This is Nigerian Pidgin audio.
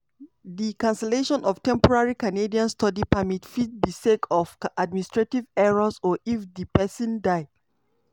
di cancellation of temporary canadian study permit fit be sake of administrative errors or if di pesin dia.